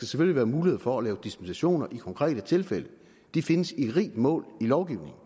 skal være mulighed for at lave dispensationer i konkrete tilfælde de findes i rigt mål i lovgivningen